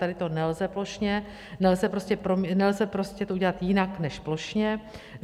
Tady to nelze plošně, nelze prostě to udělat jinak než plošně.